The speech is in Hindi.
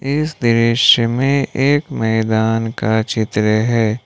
इस दृश्य में एक मैदान का चित्र है।